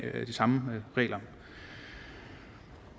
samme regler